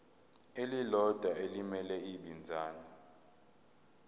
elilodwa elimele ibinzana